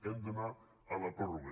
hem d’anar a la pròrroga